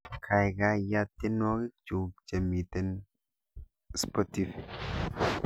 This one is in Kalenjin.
Gaigai yaat tyenwogikchuk chemiten spotifi